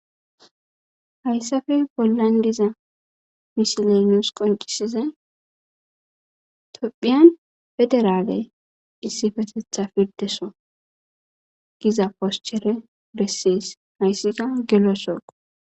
Hayssape bollan diza misiley nuus qonccisizay tophiyan issipetetha pirdeso giza poschere besees.